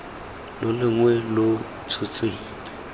lo longwe lo lo tshotsweng